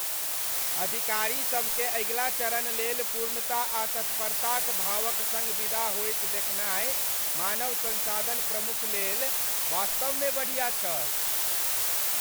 अधिकारीसभकेँ अगिला चरण लेल पूर्णता आ तत्परताक भावक सङ्ग विदा होइत देखनाय मानव संसाधन प्रमुख लेल वास्तवमे बढ़िया छल।